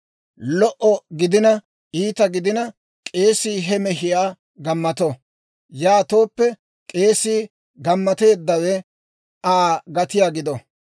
Lo"o gidina iita gidina, k'eesii he mehiyaa gammato; yaatooppe k'eesii gammateeddawe Aa gatiyaa gido.